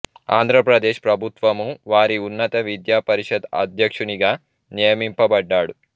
ఆంధ్ర ప్రదేశ్ ప్రభుత్వము వారి ఉన్నత విద్యా పరిషత్ అధ్యక్షునిగా నియమింపబడ్డాడు